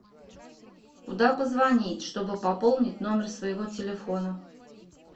куда позвонить чтобы пополнить номер своего телефона